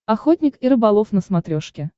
охотник и рыболов на смотрешке